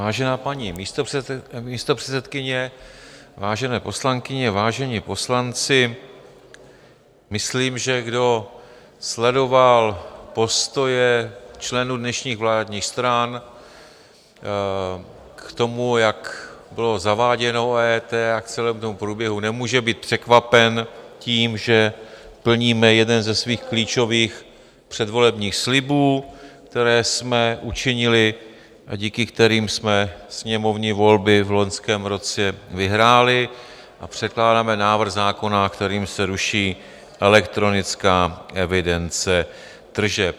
Vážená paní místopředsedkyně, vážené poslankyně, vážení poslanci, myslím, že kdo sledoval postoje členů dnešních vládních stran k tomu, jak bylo zaváděno EET, a k celému tomu průběhu, nemůže být překvapen tím, že plníme jeden ze svých klíčových předvolebních slibů, které jsme učinili a díky kterým jsme sněmovní volby v loňském roce vyhráli, a předkládáme návrh zákona, kterým se ruší elektronická evidence tržeb.